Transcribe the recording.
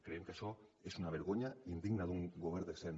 creiem que això és una vergonya indigna d’un govern decent